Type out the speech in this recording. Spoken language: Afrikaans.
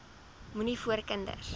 moenie voor kinders